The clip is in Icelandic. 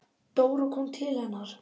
Dóra kom til hennar.